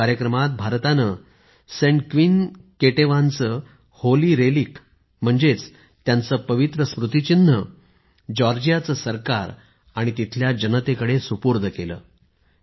या कार्यक्रमात भारताने सेंट क्वीन केटेवानच्या होली रेलिक म्हणजेच त्यांचे पवित्र स्मृतिचिन्ह जॉर्जियाचे सरकार आणि तिथल्या जनतेकडे सुपूर्द केले